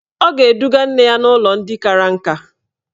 Ọ ga-eduga nne ya n'ụlọ ndị kara nka.